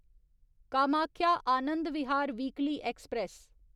Kamakhya Anand Vihar weekly express